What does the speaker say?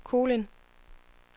Kolind